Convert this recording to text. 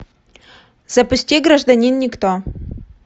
запусти гражданин никто